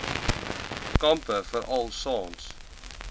kampe veral saans